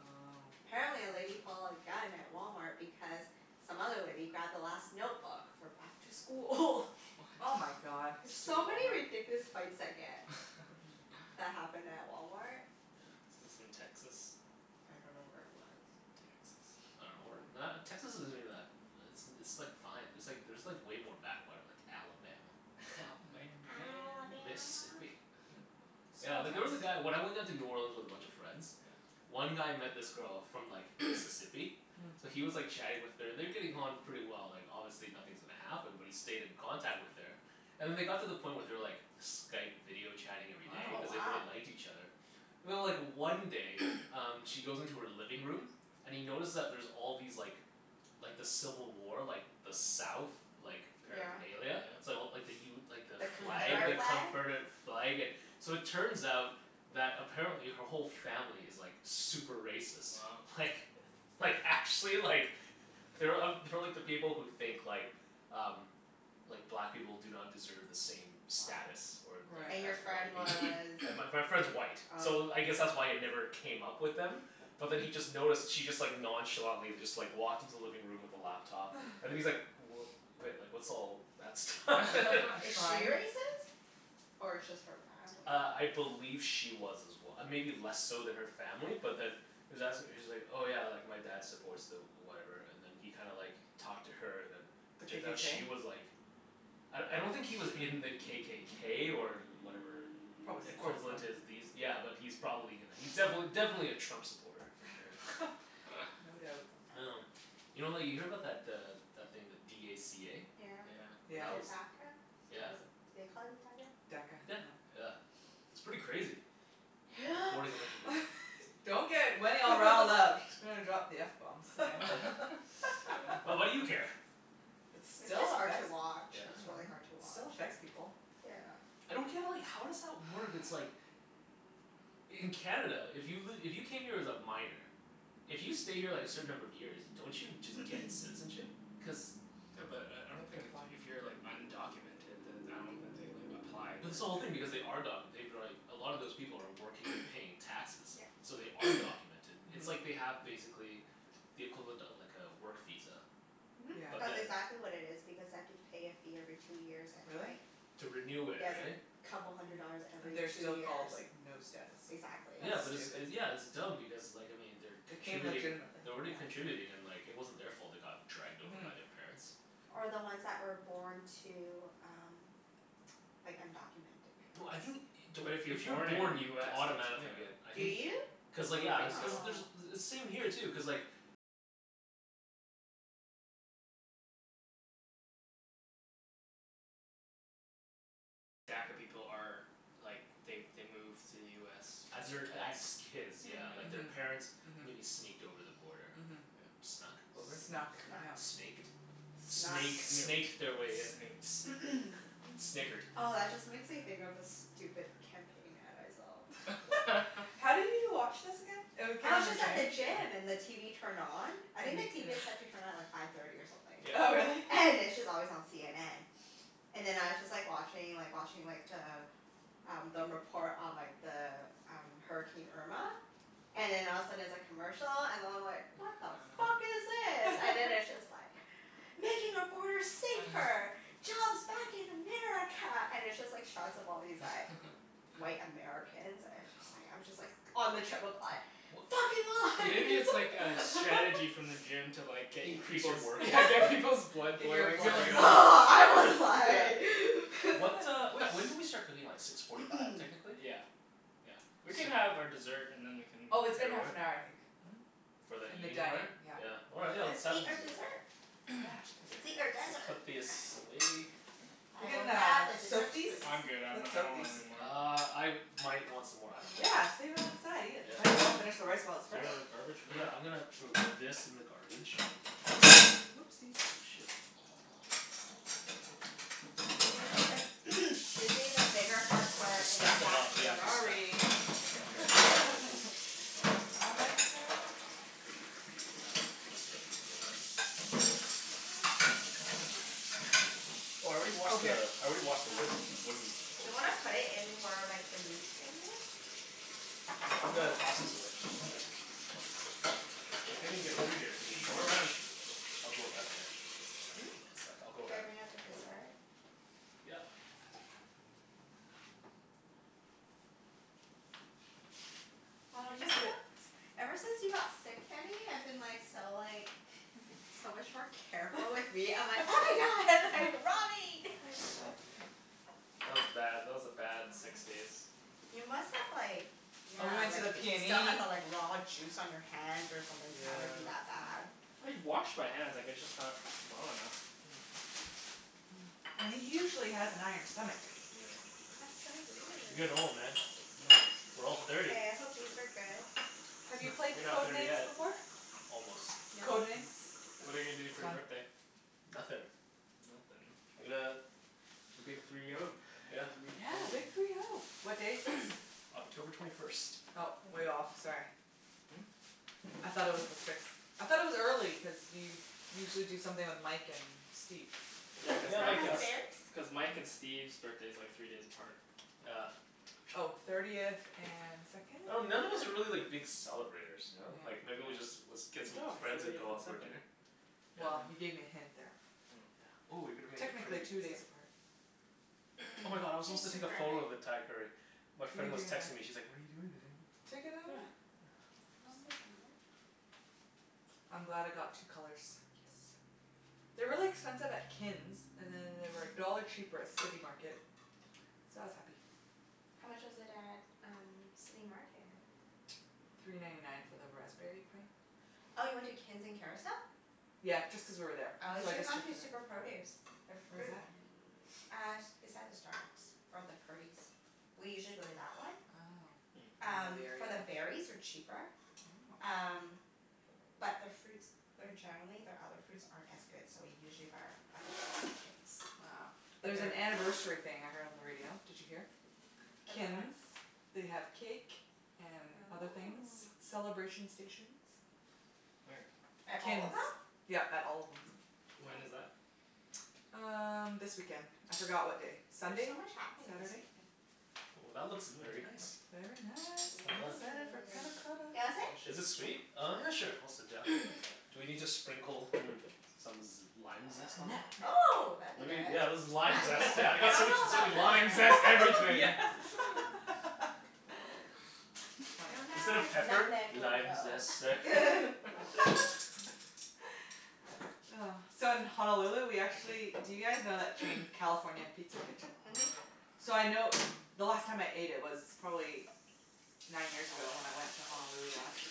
Oh. Apparently a lady pulled a gun at Walmart because some other lady grabbed the last notebook for back to school. Oh my What? god. There's Stupid so many Walmart. ridiculous fights that get Mhm. that happen at Walmart. Yeah. This is in Texas? I don't know where it was. I Texas. dunno. Or Probably. not, Texas isn't even that, it's it's like fine. There's like there's like way more backwater, like Alabama. Alabama Mm. man. Alabama. Mississippi. Yeah, Small like there was towns. a guy, when I went down to New Orleans with a bunch of friends Yeah. one guy met this girl from like Mississippi. Mm. So Mm. he was like chatting with her. And they're getting on pretty well. Like, obviously nothing's gonna happen, but he stayed in contact with her. And then they got to the point where they were like Skype video chatting every day Oh, cuz they Wow. wow. really liked each other. And then like one day um she goes into her living room and he notices that there's all these like like the civil war, like the south like Yeah. Oh yeah? paraphernalia. So like the u- like the The flag, the Confederate Confederate. flag? confederate flag and So it turns out that apparently her whole family is like super racist. Wow. Like, like actually like they're uh they're like the people who think like um like black people do not deserve the same Wow. status. Or or And your as Right. friend white was people. And my my friend's white, so Oh. I guess that's why it never came up with them but then he just noticed she just like nonchalantly just like walked into the living room with the laptop and he's like, "W- wait, like what's all that stuff?" A Is she shrine. racist? Or it's just her family? Uh, I believe she was as well. Maybe less so than her family but then he was as- she's like, "Oh yeah, like my dad supports the whatever," and then he kinda like talked to her and then The turns out KKK? she was like I I don't think he was in the KKK or whatever Probably supports them. equivalent is these, yeah but he's probably gonna, he's defin- definitely a Trump supporter, for sure. No doubt. Um, you know like you hear about that uh that thing, the d a c a? Yeah, Yeah. But Yeah. the that DACA? was, yeah. Was it, do they call it DACA? DACA, Yeah. yeah. Yeah. It's pretty crazy. Yep. Deporting a bunch of people. Don't get Wenny all riled up. She's gonna drop the f bomb soon. Well, what do you care? It It's still just hard to affects, watch. I Yeah. It's really dunno. hard to It still watch. affects people. Yeah. I don't get like, how does that work? It's like In Canada, if you've li- if you came here as a minor if you stay here like a certain number of years, don't you just get citizenship? Cuz Yeah, but I I You don't have to think if apply. if you're like undocumented then I don't think they like applied Mhm. or But this whole thing, anything. because they are documented. They've been like, a lot of those people are working, they're paying taxes. Yeah. So they are documented. It's like Mhm. they have, basically the equivalent of like a work visa. Mhm. Yeah. But That's then exactly what it is because they have to pay a fee every two years and Really? like To renew it, Yeah, it's like right? couple hundred dollars Mm. And every they're two still years. called, like, no status. Exactly. Yeah That's but it's stupid. it, yeah it's dumb because like I mean, they're They came contributing legitimately. they're already contributing and like it wasn't their fault they got dragged over Mhm. by their parents. Or the Mm. ones that were born to um like undocumented No, I think, parents. don't, But if you're if you're born in born you US don't y- automatically get yeah. I Do think you? I cuz like would yeah. think Cuz so. Oh. there's, same here too, cuz like As their, as kids, yeah. Like, Hmm. their Yeah. Mhm. parents maybe Mhm. sneaked over the border. Mhm. Yeah. Snuck over? Snuck. Snuck, Snuck. yeah. Snaked? Snuck. Snake Snooked. snaked their way in. S- Snooked. snickered. Oh, that just makes me think of this stupid campaign ad I saw. What? How do you watch this again? It w- came I in was the just At at the the gym? gym. gym and the TV turned on. I think And the you couldn't TV is set to turn on at like five thirty or something. Oh, really? Yeah. And it's just always on CNN. And then I was just like watching like watching like the um the report on like the um, Hurricane Irma. And then all of a sudden it's a commercial, and I'm like "What the fuck is this?" And then it's just like "Making our borders safer!" "Jobs back in America!" And it's just like shots of all these like white Americans and it's just like, I'm just like on the treadmill like W- "Fucking Maybe it's like a lies!" strategy from the gym to like get y- Increase your people's workout, Yeah, yeah. get people's blood Get your boiling You're blood like I was Yeah. like What uh, wh- when did we start cooking? Like six forty five technically? Yeah. Yeah. We can So have our dessert and then we can Oh, it's been Head half over? an hour, I think. Mhm. For the And the eating dining, part? yeah. Yeah, all right let's Let's eat our dessert. Yeah, Let's eat our Dessert. desserts. We'll desert. put this away. We I will can grab uh the dessert soak these? spoons. I'm good. I'm n- Let's I soak don't these. want anymore. Uh, I might want some more. I dunno. Yeah, save it on the side. Eat it. Yeah. Might as well finish the rice while it's Is fresh. Hold there on. a garbage for Yeah, that? I'm gonna throw this in the garbage. Whoopsies. Oh shit. Susie the Susie, the bigger forks were Just in the stack 'em back up. Yeah, corner. just stack Sorry. Yeah, yeah. I messed up. Oh, I already Oh, washed the, here. I already washed the Oh. wood Do wooden board. you wanna put it in where like the meat thing is? Yeah, I'm gonna Hmm? toss this away. Yeah. I can't even get through here to the Go garbage. around. I'll go around there. Hmm? One sec. I'll go Should I around. bring out the dessert? Yep. Why I've don't you just sit? felt Ever since you got sick, Kenny, I've been like so like so much more careful with meat. I'm like, "Oh my god, like raw meat." That was bad. That was a bad six Oh. days. You must have like yeah, And we Help. went to like the still have PNE. the like raw juice on your hands or something to have it be Yeah. that bad. I washed my hands. I guess just not well enough. Hmm. And he usually has an iron stomach. Oh yeah. That's so You're weird. getting old, man. Mm, We're all mm. thirty. Hey, I hope these are good. Have you Heh. played You're not Code thirty Names yet. before? Almost. No. Code Names? What are you gonna do It's for your fun. birthday? Nothin'. Nothin'? I'm gonna The big three oh. Yeah. Three Yeah, big oh. three oh. What day is sixth? October twenty first. Oh, Ooh. way off. Sorry. Hmm? I thought it was the sixth. I thought it was early cuz you usually do something with Mike and Steve. Yeah, cuz Can Yeah, I Mike like pass and the a berries? S- cuz Mike and Steve's birthday's like three days apart. Yeah. Oh. Thirtieth and second, I dun- none of us third? are really like big celebrators, ya know? Like Yeah. maybe we just, was, Yeah. get Good some job. friends and Thirtieth go and out for a second. dinner. Well, Yeah. you Yeah. gave me a hint there. Oh. Yeah. Ooh you're gonna make it pretty Technically and two days stuff. apart. Oh my god, I was supposed to take a photo of the Thai curry. My You can friend was texting me, she's like, "What are you doing today?" Take another Yeah. one. Yeah. I'm glad I got two colors. Yes. They're really expensive at Kin's, and then they were a dollar cheaper at City Market. So I was happy. How much was it at um City Market? Three ninety nine for the raspberry Oh. pint. Oh, you went to Kin's in Kerrisdale? Yeah, just cuz we were there. Oh, you So I should have just gone checked to it out. Super Produce. Their Where's fruit that? Uh, s- beside the Starbucks or the Purdy's. We usually go to that one. Oh. Hmm. I don't know Um, the area for the enough. berries are cheaper. Oh. Um, but their fruits they're generally, their other fruits aren't as good, so we usually buy our other fruits at Kin's. Oh. But There's an their anniversary thing I heard on the radio. Did you hear? About what? Kin's. They have cake and other things. Oh. Celebration stations. Where? At At all of Kin's. them? Yep, at all of them. When is Oh. that? Um, this weekend. I forgot what day. There's Sunday? so much happening this Saturday? weekend. Ooh, that looks Mmm. very nice. Very nice. Well I'm done. excited for panna Yeah. cotta. Do you wanna sit? Is it Delicious. sweet? Oh yeah, sure. I'll sit down. You can sit. Do we need to sprinkle, mm, some z- lime zest on there? Nutmeg. Oh, that'd be Maybe, good. yeah that's the lime Nutmeg? zest. Yeah, I I got so much, dunno so many about limes. Lime Nutmeg. zest Yeah. everything! I Funny. Instead dunno of if pepper. nutmeg will "Lime go. zest, sir?" Oh. So, in Honolulu we Thank actually, do you guys know that you. chain, California Pizza Kitchen? Mhm. So I know, the last time I ate it was probably nine years ago, when I went to Honolulu last.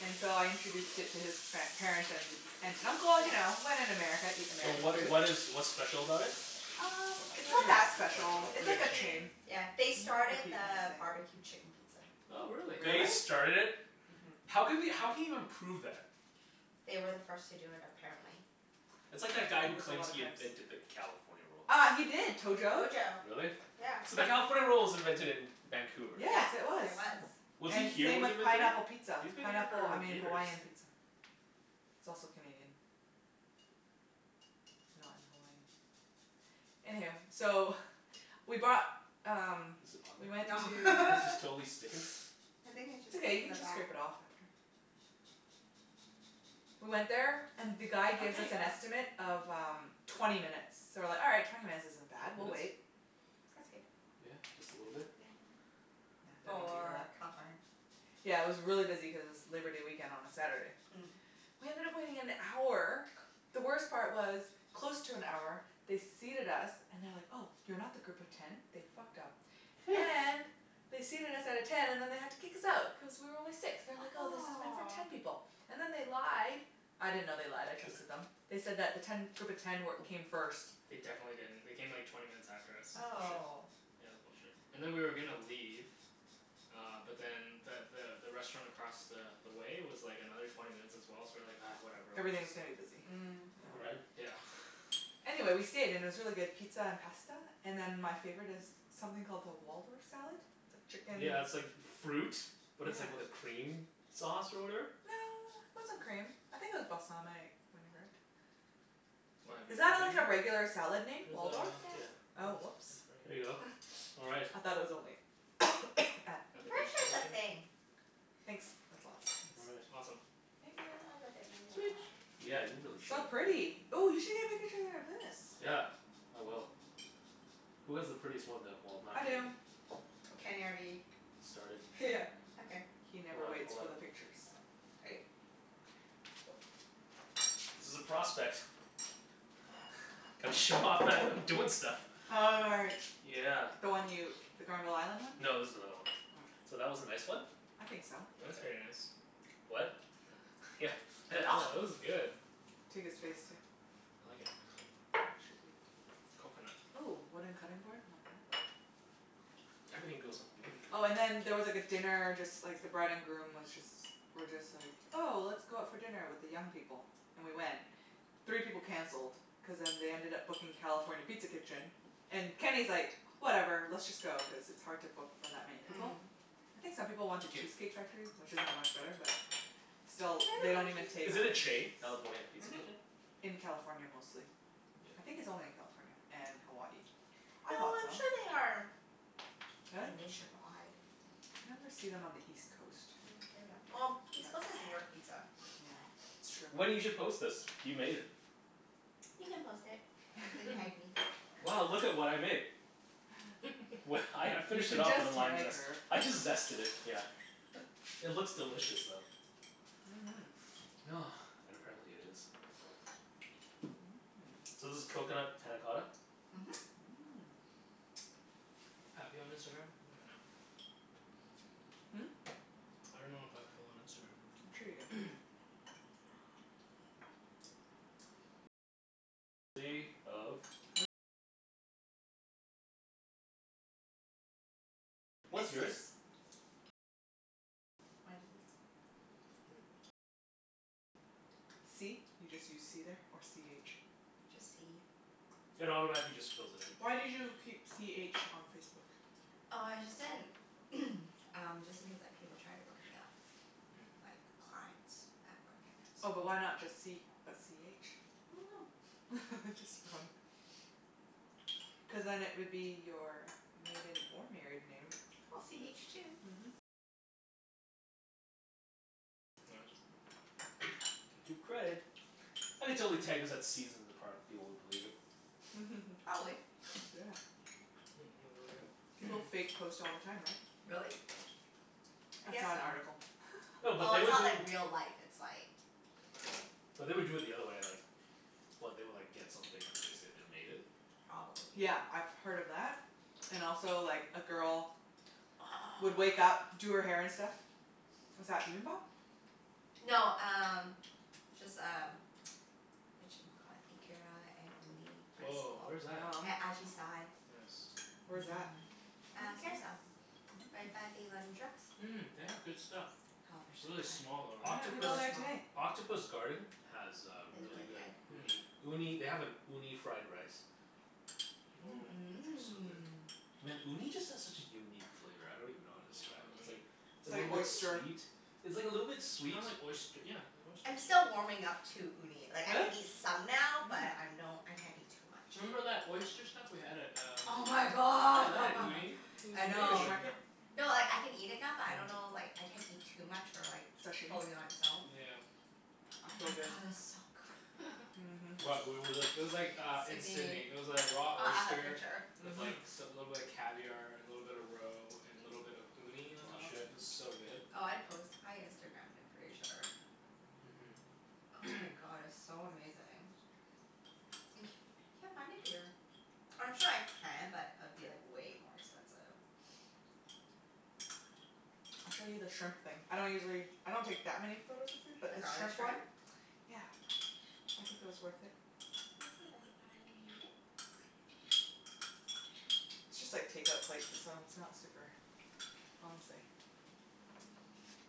And so I introduced it to his par- parents, and aunt and uncle. You Yeah. know, when in America eat So American what food. what is what's special about it? Um, It's it's not not really that special. special. It's It's like like a a chain. chain. Yeah. Can They you not started repeat what I the say? barbecue chicken pizza. Oh, really? Really? They started it? Mhm. How can we how can you even prove that? They were the first to do it, apparently. That's Oh, like that guy who there's a claims lot of he claims. invented the California Roll. Uh, he did. Tojo. Tojo. Really? Yeah. So the California Roll was invented in Vancouver. Yeah, Yes, it was. there was. Hmm. Was he And here same when he with invented pineapple it? pizza. He's been here Pineapple, I for mean years. Hawaiian pizza. It's also Canadian. Not in Hawaii. Anyhoo, so we bought um Is it on we went No. to there? This is totally sticking. I think it's It's just stuck okay. You to can the just back. scrape it off after. We went there and the guy Oh, gives there us ya an go. estimate of um twenty minutes. So we're like, "All right. Twenty minutes isn't bad. Twenty We'll wait." minutes? That's good. Yeah? Just a little bit? Yeah. Yeah, don't need to For eat California? Yeah, it was really busy cuz it's Labor Day weekend on a Saturday. Mm. We ended up waiting an hour. The worst part was, close to an hour they seated us and they're like, "Oh, you're not the group of ten." They fucked up and they seated us at a ten and then they had to kick us out, cuz we were only six. They're like, Ah "Oh, this is meant for ten aw. people." And then they lied. I didn't know they lied. I trusted them. They said that the ten group of ten wer- came first. They definitely didn't. They came like twenty minutes after us. That's bullshit. Oh. Yeah, it was bullshit. And then we were gonna leave uh but then the the the restaurant across the the way was like another twenty minutes as well, so we're like, "Ah, whatever, we're just" Everything's gonna be busy. Mm. Yeah. Right? Yeah. Anyway, we stayed. And it was really good pizza and pasta. And then my favorite is something called the Waldorf salad. It's like chicken Yeah, it's like fruit, but Yeah. it's like with a cream sauce or whatever. No, it wasn't cream. I think it was balsamic vinaigrette. Why, have you Is that heard like a of it? regular salad name? Waldorf? It Yeah. Yes. was Oh, whoops. a There you go. All right. I thought it was only at At I'm the pretty bistro sure it's a kitchen? thing. Thanks. That's lots, All thanks. right. Awesome. Thank I'll you. have a bit more, Sweet. yep, sure. Yeah, you really should. So pretty. Ooh, you should get a pic- picture of this. Yeah, I will. Who has the prettiest one, though? Well, not I Kenny. do. Kenny already Started. Okay. He Hold never up, waits hold for up. the pictures. Okay. Okay. Cool. This is a prospect. Gotta show off that I'm doing stuff. Oh, right. Yeah. The one you, the Granville Island one? No, this is another one. Oh. So, that was a nice one. I think so. That's very Okay. nice. What? Yeah. Oh, this is good. Take his face, too. I like it. Coconut. Ooh, wooden cutting board, like that? Everything goes on the wooden cutting Oh and board. then there was like a dinner, just like the bride and groom was just were just like, 'Oh, let's go out for dinner with the young people." And we went. Three people canceled cuz then they ended up booking California Pizza Kitchen. And Kenny's like, "Whatever, let's just go." Cuz it's hard to book for that many people. Mm. I think some people wanted 'kyou. Cheesecake Factory, which isn't much better but They have still, they don't a even good Cheesecake take Is it a Factory. chain? reservations. California Pizza Mhm. Kitchen? In California, mostly. I Yeah. think it's only in California and Hawaii. I No, thought so. I'm sure they are Really? nationwide. You never see them on the east coast. Mm maybe I'm, well, east coast is New York Pizza. Yeah, it's true. Wenny, you should post this. You made it. You can post it. And tag me. Wow, look at what I made. Well, I I You finished can it off just with the lime tag zest. her. I just zested it, yeah. It looks delicious, though. Mhm. And apparently it is. Mmm. So this is coconut panna cotta? Mhm. Mmm. I have you on Instagram? I don't even know. Hmm? I dunno if I have Phil on I'm sure you do. Instagram. What's Mrs. yours? Wenny. C? You just use c there, or c h? Just c. It automatically just fills it in. Why did you keep c h on Facebook? Oh, I just didn't um, just in case like people try to look me up. Mm. Like, clients at work, and Oh, but why that's not just c, but c h? I dunno. Just for fun. Cuz then it would be your maiden or married name. C h two. Mhm. Gotta give credit. I could totally tag this at Seasons in the Park and people would believe it. Probably. Yeah. Mmm, really good. People fake post all the time, right? Really? I I guess saw an so. article. No, but Oh, they it's would do not like real life. It's like but they would do it the other way, like What? They would like get something and then they'd say they made it? Probably. Yeah, I've heard of that and also, like, a girl would wake up, Oh. do her hair and stuff. Is that bibimbap? No, um just um Whatchamacallit? Ikara and uni rice bowl. Woah, where's that? Yum. At Ajisai. Yes. Where's that? I think Uh, I saw that Kerrisdale. one. Right by the Mm. London Drugs. Mmm, they have good stuff. Oh, they're so Really good. small though, Why didn't right? we Octopus go Really there small. today? Octopus Garden has uh Is really really good good. uni. Hmm. Uni, they have an uni fried rice. Mmm. Woah. So good. Mmm. Man, uni just has such a unique flavor. I don't even know how to Yeah, I describe love it. It's uni. like It's a like little bit oyster. sweet, it's like a little bit It's sweet kinda like oyst- yeah, they're I'm oysters. still warming up to uni. Like, I Really? can eat some now, but Mm. I'm don't, I can't eat too much. Remember that oyster stuff we had at um Oh my Yeah, that had god. Mm. uni. It was I Fish know. amazing. market? No, like I can eat it now but I don't know Mhm. like, I can't eat too much or like Sashimi? fully on its own. Yeah. But oh It's my so god, good. it's so good. Mhm. What? Where was this? It was like uh in Sidney. Sidney. It was like raw Oh, I have a oyster picture. with like Mhm. s- a little bit of caviar and a little bit of roe and a little bit of uni on Aw, top. It shit. was so good. Oh, I post, I Instagramed it, pretty sure. Mhm. Oh my god, it was so amazing. And c- can't find it here. I'm sure I can but it'd be like way more expensive. I'll show you the shrimp thing. I don't usually, I don't take that many photos of food, but The this garlic shrimp one shrimp? Yeah, I think it was worth it. Let me see if I can find it. It's just like take-out plates so it's not super fancy.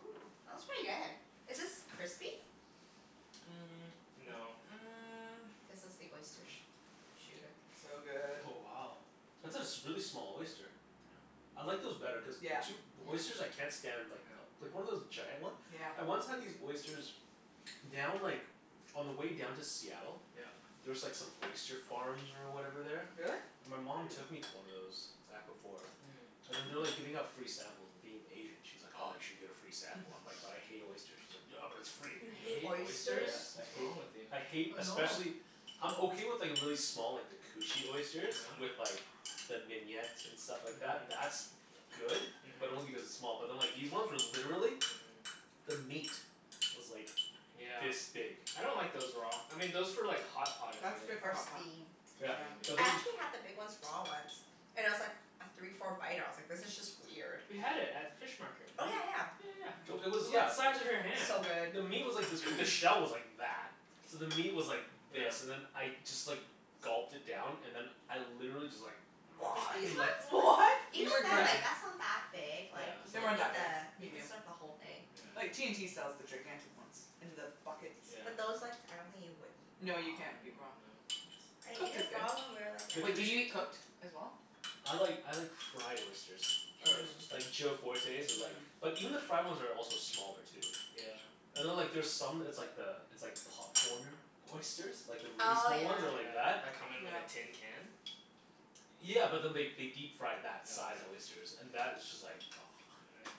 Ooh, that was pretty good. Is this crispy? Mm, no. Mm. This was the Mm- oyster mm. sh- shooter. So good. Oh, wow. That's a s- a really small oyster. Yeah. I like those better cuz Yeah. two, oysters Yeah. I can't stand like Yeah. like one of those giant one? Yeah. I once had these oysters down like, on the way down to Seattle. Yeah. There's like some oyster farms or whatever there. Really? My mom took Hmm. me to one of those, back before. Hmm. And then they're Mm. like giving out free samples, and being Asian she's like, "Oh, you should get a free sample." I'm like, "But I hate oysters." She's like, "Yeah, but it's free." You You hate hate oysters? Yeah, oysters? I What's hate, wrong with you? I hate, I know. especially I'm okay with like really small, like the cushy Yeah? oysters. With like the mignonette and stuff like that. That's good. Mhm. But only Mhm. because it's small. But then like these ones were literally Mhm. the meat was like Yeah. this big. I don't like those raw. I mean those for like hot pot is That's good. good for Or hot pot. steam. Or Yeah, Yeah. but steamed, I yeah. then actually had the big ones raw once. And I was like af- three four bite ah I was like this is just weird. We had it at fish market, Oh, remember? yeah yeah. Yeah yeah So yeah. it It Mm. was was, the yeah. size of your hand. So good. The meat was like this b- the shell was like that. So the meat was like Yeah. this and then I just like gulped it down. And then I literally just like Like these ones? What? You Even then, regurg- Yeah. like that's not that big. Yeah, Like, you it's They could weren't not eat that that big. big. the you can Medium. suck the whole thing. Like, Yeah yeah. T&T sells the gigantic ones in the buckets. Yeah. But those like, I don't think you would eat No, raw. you Mm, can't eat no. raw. I ate Cooked is it good. raw when we were like The at Wait, do you a cush- eat cooked as well? I like, I like fried oysters. Fried oyster's Mmm. good. Like Joe Fortes' is like Mm. but even the fried ones are also smaller, too. Yeah. And then like Mhm. there's some, it's like the, it's like popcornered oysters. Like the really Oh, small yeah. ones that are like Yeah. that. That come in like Yeah. a tin can? Yeah, but then they they deep fry Oh that size yeah? oysters. And that is just like Right.